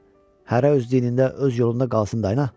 Hərə öz dinində, öz yolunda qalsın dayı.